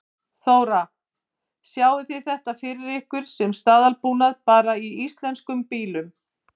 Þóra: Sjáið þið þetta fyrir ykkur sem staðalbúnað bara í íslenskum bílum?